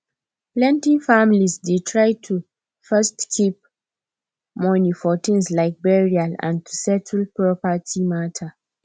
plenty families dey try to first keep money for things like burial and to settle property matter